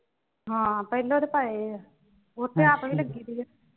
ਹਾਂ ਪਹਿਲੋਂ ਤੇ ਪਾਏ ਹੋਏ ਆ ਉੱਥੇ ਆਪ ਵੀ ਲੱਗੀ ਰਹੀ ਆ।